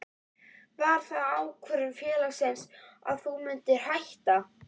Var það ákvörðun félagsins að þú myndir hætta?